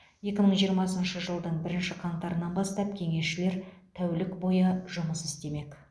екі мың жиырмасыншы жылдың бірінші қаңтарынан бастап кеңесшілер тәулік бойы жұмыс істемек